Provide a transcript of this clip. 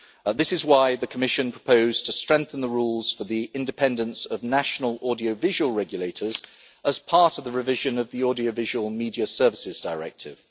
This is why the Commission has proposed strengthening the rules for the independence of national audiovisual regulators as part of the revision of the Audiovisual Media Services Directive.